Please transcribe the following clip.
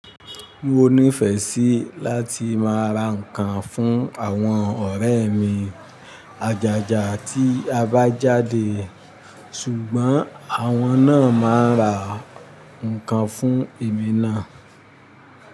Mo nífẹẹ sí láti máa ra ǹkan fún àwọn ọ̀rẹ́ mi àjájá tí a bá jáde, ṣùgbọ́n àwọn náà máa ra ǹkan fún èmi náà.